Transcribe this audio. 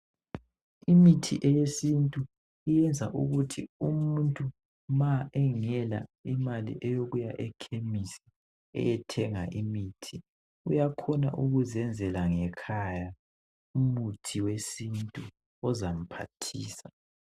Imithi eyesintu iyenza ukuthi umuntu ma engela imali yokuya ekhemesi ayethenga imithi uyakhona ukuzenzela ngekhaya, umuthi wesintu ozamphathisa.